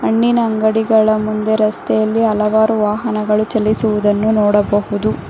ಹಣ್ಣಿನ ಅಂಗಡಿಗಳ ಮುಂದೆ ರಸ್ತೆಯಲ್ಲಿ ಹಲವಾರು ವಾಹನಗಳು ಚಲಿಸುವುದನ್ನು ನೋಡಬಹುದು.